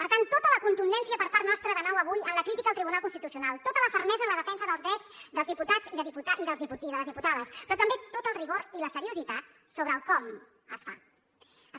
per tant tota la contundència per part nostra de nou avui en la crítica al tribunal constitucional tota la fermesa en la defensa dels drets dels diputats i de les diputades però també tot el rigor i la seriositat sobre el com es fa